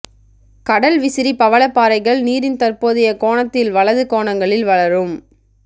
கடல் விசிறி பவளப்பாறைகள் நீரின் தற்போதைய கோணத்தில் வலது கோணங்களில் வளரும்